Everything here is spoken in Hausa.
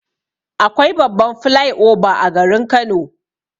Akwai babban flai oba a garin Kano.